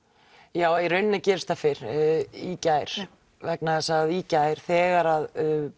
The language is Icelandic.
já í rauninni gerist það fyrr i gær vegna þess að í gær þegar